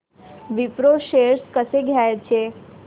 Wipro shares कसे घ्यायचे